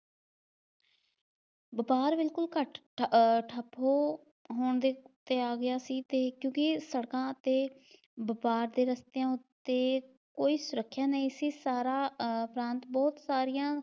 ਵਪਾਰ ਬਿਲਕੁਲ ਘੱਟ ਅਹ ਠੱਪ ਹੋਣ ਦੇ ਤੇ ਆ ਗਿਆ ਸੀ ਤੇ ਕਿਉਕਿ ਸੜਕਾਂ ਤੇ ਵਪਾਰ ਦੇ ਰਸਤਿਆਂ ਉੱਤੇ ਕੋਈ ਸੁਰੱਖਿਆ ਨਹੀਂ ਸੀ, ਸਾਰਾ ਆਹ ਟਰਾਂਸਪੋਰਟ ਸਾਰੀਆਂ